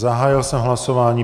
Zahájil jsem hlasování.